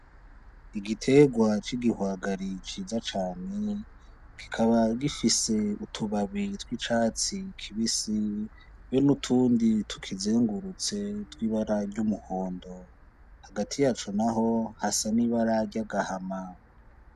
Igiterwa c’igihwagari ciza cane kikaba gifise utubabi tw’icatsi kibisi n’utundi tukizengurutse tw’ibara ry’umuhondo , hagati yaco n’aho hasa n’ibara ry’agahama.